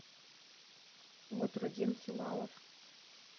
батрутдин хилалов